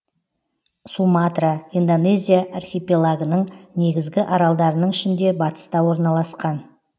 суматра индонезия архипелагының негізгі аралдарының ішінде батыста орналасқан